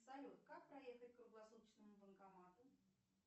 салют как проехать к круглосуточному банкомату